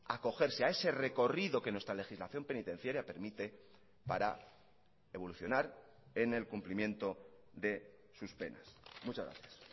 acogerse a ese recorrido que nuestra legislación penitenciaria permite para evolucionar en el cumplimiento de sus penas muchas gracias